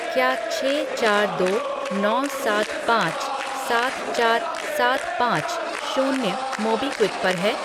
क्या छः चार दो नौ सात पाँच सात चार सात पाँच शून्य मोबीक्विक पर है?